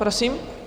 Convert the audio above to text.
Prosím?